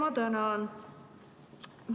Ma tänan!